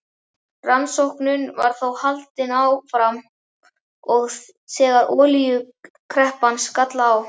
Rannsóknum var þó haldið áfram, og þegar olíukreppan skall á